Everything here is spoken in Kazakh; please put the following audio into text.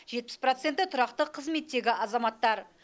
жетпіс проценті тұрақты қызметтегі азаматтар